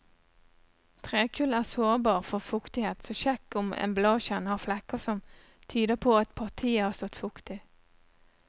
Trekull er sårbar for fuktighet, så sjekk om emballasjen har flekker som tyder på at partiet har stått fuktig.